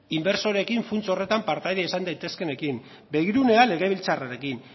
inbertsoreekin funts horretan partaide izan daitezkeenekin begirunea legebiltzarrarekin